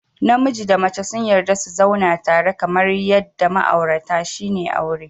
Namiji da mace sun yarda su zauna tare kamar yadda ma'aurata shine aure